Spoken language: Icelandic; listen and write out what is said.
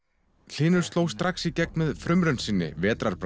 hlynur sló strax í gegn með frumraun sinni